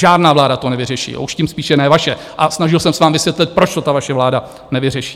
Žádná vláda to nevyřeší, a tím spíše ne vaše, a snažil jsem se vám vysvětlit, proč to ta vaše vláda nevyřeší.